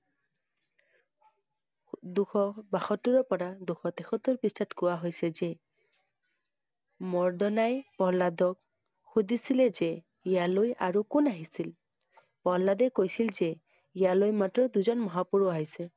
দুশ বাসত্তৰৰ পৰা দুশ তেসত্তৰ পৃষ্ঠাত কোৱা হৈছে যে মৰ্দনাই প্ৰহ্লাদক সুধিছিল যে, ইয়ালৈ আৰু কোন আহিছিল? প্ৰহ্লাদে কৈছিল যে ইয়ালৈ মাত্ৰ দুজন মহাপুৰুষ আহিছে।